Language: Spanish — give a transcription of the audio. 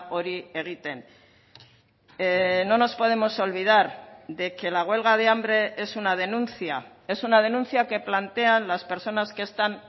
hori egiten no nos podemos olvidar de que la huelga de hambre es una denuncia es una denuncia que plantean las personas que están